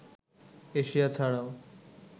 Asia ছাড়াও